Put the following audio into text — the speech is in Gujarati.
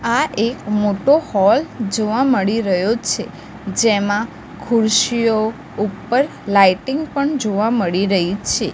આ એક મોટો હોલ જોવા મળી રહ્યો છે જેમાં ખુરશીઓ ઉપર લાઇટિંગ પણ જોવા મળી રહી છે.